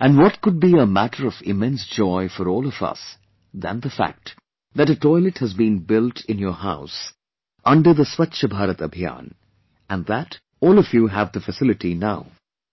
and what could be a matter of immense joy for all of us than the fact that a toilet has been built in your house under the "Swachh Bharat Abhiyan" and that, all of you have the facility now